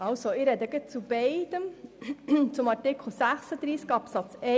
Kommissionsprecherin der GSoK-Minderheit.